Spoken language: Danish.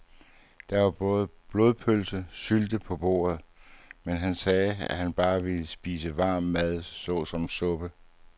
Der var både blodpølse og sylte på bordet, men han sagde, at han bare ville spise varm mad såsom suppe.